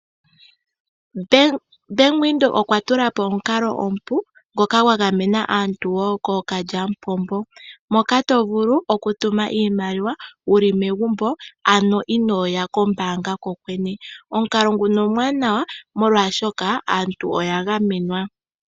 Bank Windhoek okwa tula po omukalo omupu ngoka gwa gamena aantu wo kookakalyamupombo. Moka to vulu okutuma iimaliwa wuli megumbo ano inooya kombaanga kokwene. Omukalo nguka omuwanawa oshoka ogwa gamenwa.